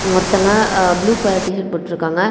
ஒருத்தங்க அ blue colour T shirt போட்டுருக்காங்க.